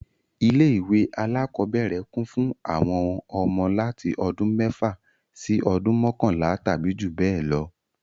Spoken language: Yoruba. Ilé ìwé alákọ́bẹ̀rẹ̀ kún fún àwọn ọmọ láti ọdún mẹ́fà sí ọdún mọkanla tàbí jù bẹ lọ